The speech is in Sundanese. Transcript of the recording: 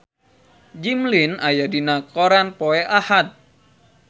Jimmy Lin aya dina koran poe Ahad